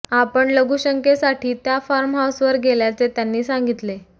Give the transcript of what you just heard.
आपण लघुशंकेसाठी त्या फार्म हाऊसवर गेल्याचे त्यांनी सांगीतले